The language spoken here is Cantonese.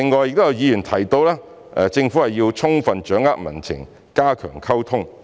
有議員提到政府須充分掌握民情和加強溝通。